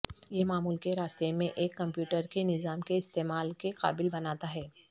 یہ معمول کے راستے میں ایک کمپیوٹر کے نظام کے استعمال کے قابل بناتا ہے